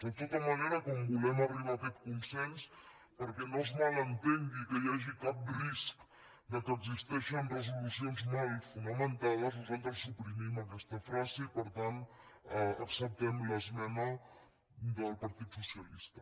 de tota manera com volem arribar a aquest consens perquè no es ma·lentengui que hi hagi cap risc que existeixen resoluci·ons mal fonamentades nosaltres suprimim aquesta fra·se i per tant acceptem l’esmena del partit socialista